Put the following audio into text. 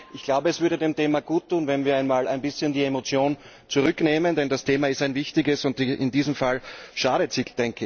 Ich glaube, es würde dem Thema guttun, wenn wir einmal ein bisschen die Emotion zurücknehmen, denn das Thema ist ein wichtiges und in diesem Fall schadet sie.